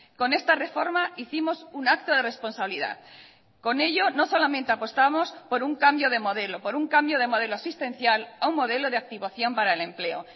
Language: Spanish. con esta reforma hicimos un acto de responsabilidad con ello no solamente apostamos por un cambio de modelo por un cambio de modelo asistencial a un modelo de activación para el empleo